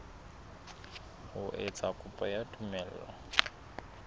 ho etsa kopo ya tumello